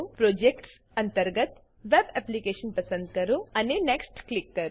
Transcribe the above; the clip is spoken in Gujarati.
પ્રોજેક્ટ્સ અંતર્ગત વેબ એપ્લિકેશન પસંદ કરો અને નેક્સ્ટ ક્લિક કરો